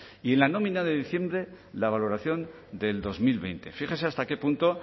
y en la nómina de diciembre la valoración del dos mil veinte fíjese hasta qué punto